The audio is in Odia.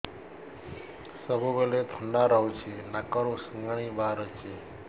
ସବୁବେଳେ ଥଣ୍ଡା ରହୁଛି ନାକରୁ ସିଙ୍ଗାଣି ବାହାରୁଚି